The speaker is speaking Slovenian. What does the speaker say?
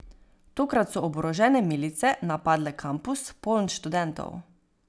Tokrat so oborožene milice napadle kampus poln študentov.